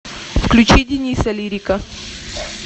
включи дениса лирика